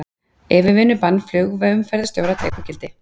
Yfirvinnubann flugumferðarstjóra tekur gildi